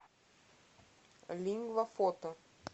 лингва фото